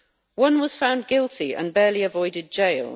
One was found guilty and barely avoided jail.